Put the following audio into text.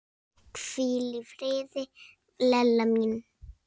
Hvíl í friði, Lella mín.